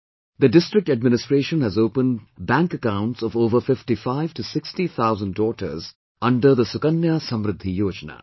The district administration has opened bank accounts of over 5560 thousand daughters under 'Sukanya Samridhi Yojana'